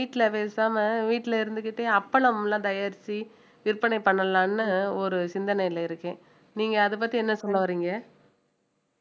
வீட்டுல பேசாம வீட்டுல இருந்துக்கிட்டே அப்பளம் எல்லாம் தயாரிச்சு விற்பனை பண்ணலாம்னு ஒரு சிந்தனையில இருக்கேன் நீங்க அதைப் பத்தி என்ன சொல்ல வர்றீங்க